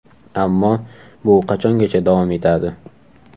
Ammo bu qachongacha davom etadi?